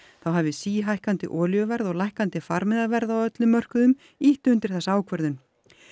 þá hafi síhækkandi olíuverð og lækkandi farmiðaverð á öllum mörkuðum ýtt undir þessa ákvörðun